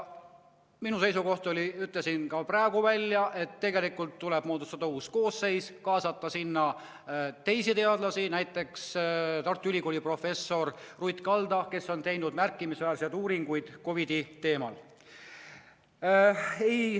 Minu seisukoht oli, ütlen selle ka praegu välja, et tegelikult tuleb moodustada uus koosseis ja kaasata sinna teisi teadlasi, näiteks Tartu Ülikooli professor Ruth Kalda, kes on teinud märkimisväärseid uuringuid COVID‑i teemal.